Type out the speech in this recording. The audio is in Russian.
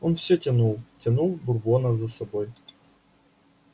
он все тянул тянул бурбона за собой